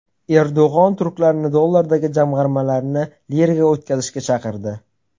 Erdo‘g‘on turklarni dollardagi jamg‘armalarini liraga o‘tkazishga chaqirdi.